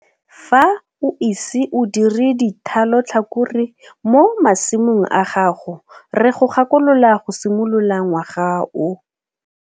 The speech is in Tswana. Fa o ise o dire dithalotlhakore mo masimong a gago re go gakolola go simolola ngwaga o.